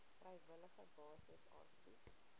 vrywillige basis aangebied